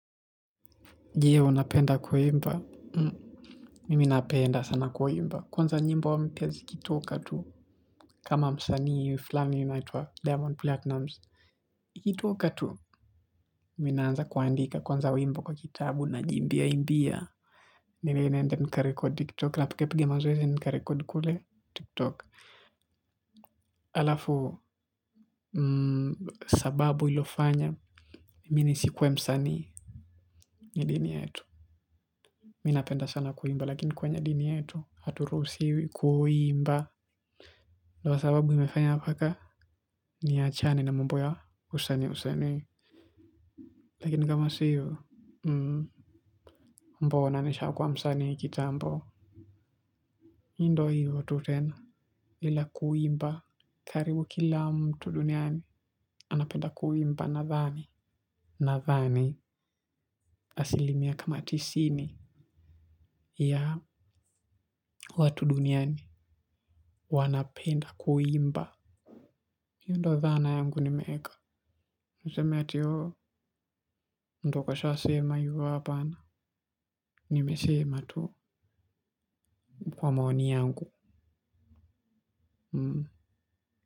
Je unapenda kuimba? Mimi napenda sana kuimba kwanza nyimbo mpya zikitoka tu kama msaani flani yaituwa diamond platinums ikitoka tu mimi naanza kuandika kwanza wimbo kwa kitabu najiimbiaimbia mimi naenda nkarekodi tiktok napigapiga mazoezi nkarekodi kule tiktok alafu sababu iliofanya mimi nisikue msanii ni dini yetu. Mimi napenda sana kuimba lakini kwenye dini yetu haturuhusiwi kuimba. Ndio sababu imefanya mpaka niachane na mambo ya usanii usanii. Lakini kama si hiyo mbona nishakua msanii kitambo. Ndo hivyo tu tena bila kuimba. Karibu kila mtu duniani anapenda kuimba nadhani. Nadhani asilimia kama tisini ya watu duniani wanapenda kuimba. Ndo dhana yangu nimeeka. Niseme ati ooh, ndo kashasema hivo hapana. Nimesema tu. Kwa maoni yangu. Hmm.